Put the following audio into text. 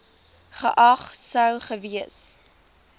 geag sou gewees